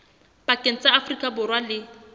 pakeng tsa afrika borwa le